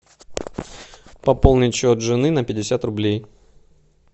пополнить счет жены на пятьдесят рублей